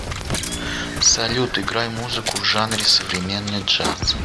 салют играй музыку в жанре современный джаз